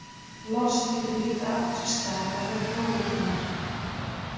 Lost getur líka átt sér stað vegna blóðeitrunar.